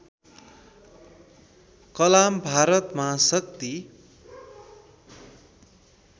कलाम भारत महाशक्ति